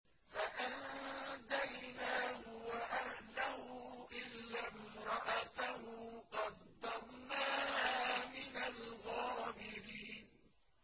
فَأَنجَيْنَاهُ وَأَهْلَهُ إِلَّا امْرَأَتَهُ قَدَّرْنَاهَا مِنَ الْغَابِرِينَ